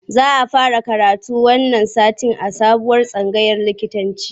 Za a fara karatu wannan satin a sabuwar tsangayar likitanci